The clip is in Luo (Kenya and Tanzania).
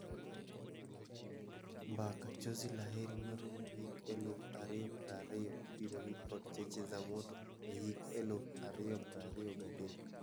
Mbaka, 'Chozi La Heri' marumo hik eluf ario prario ibiro wil kod 'Cheche za Moto' e hik eluf ario prario gadek.